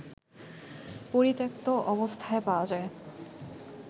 পরিত্যক্ত অবস্থায় পাওয়া যায়